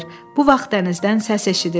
Bu vaxt dənizdən səs eşidildi.